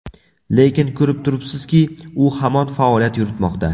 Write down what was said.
Lekin ko‘rib turibsizki, u hamon faoliyat yuritmoqda.